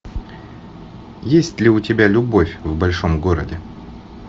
есть ли у тебя любовь в большом городе